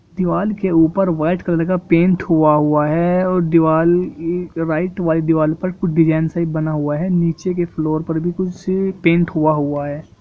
दिवाल के ऊपर वाइट कलर का पेंट हुआ हुआ है और दिवाल ईऽ राईट व्हाइट दीवाल पर कुछ डिज़ाइन सा बना हुआ है नीचे के फ्लोर पर भी कुछ पेंट हुआ हुआ है।